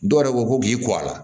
Dɔw yɛrɛ ko ko k'i kɔ a la